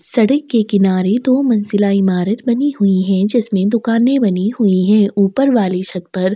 सड़क के किनारे दो मंजिला ईमारत बनी हुई है जिसमे दुकाने बनी हुई है ऊपर वाली छत पर--